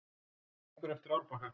Gengur eftir árbakka.